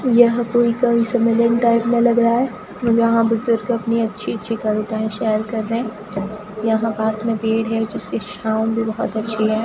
यह कोई कवि सम्मेलन टाइप में लग रहा है और यहां बुजुर्ग अपनी अच्छी अच्छी कविताएं शेयर कर रहे हैं यहां पास में पेड़ है जिसकी छांव भी बहोत अच्छी है।